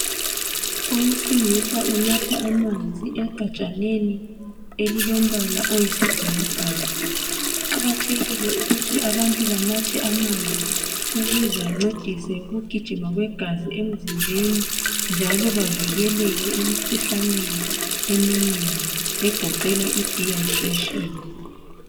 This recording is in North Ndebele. Owesilisa unatha amanzi egajaneni elilombala oyisi bhakabhaka . Kuqakathekile ukuthi abantu banathe amanzi ukuze ancedise ukugijima kwegazi emzimbeni njalo bavikeleke emikhuhlaneni eminengi egoqela idehydration .